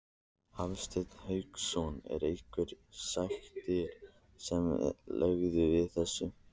Hafsteinn Hauksson: Er einhverjar sektir sem eru lagðar við þessu?